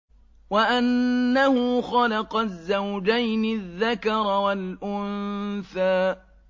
وَأَنَّهُ خَلَقَ الزَّوْجَيْنِ الذَّكَرَ وَالْأُنثَىٰ